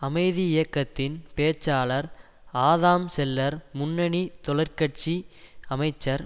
அமைதி இயக்கத்தின் பேச்சாளர் ஆதாம் செல்லர் முன்னணி தொழற்கட்சி அமைச்சர்